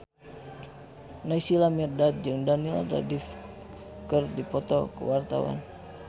Naysila Mirdad jeung Daniel Radcliffe keur dipoto ku wartawan